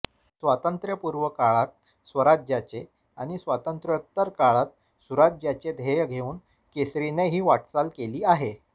स्वातंत्र्यपूर्व काळात स्वराज्याचे आणि स्वातंत्र्योत्तर काळात सुराज्याचे ध्येय घेऊन केसरीने ही वाटचाल केली आहे